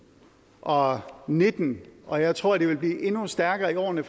og nitten og jeg tror at behovet vil blive endnu stærkere i årene